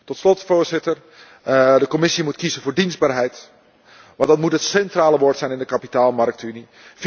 Tot slot, Voorzitter, moet de Commissie kiezen voor dienstbaarheid, want dat moet het centrale woord zijn in de kapitaalmarktenunie.